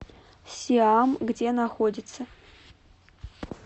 сиам где находится